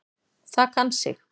Það kann sig.